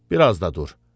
Bir az da dur.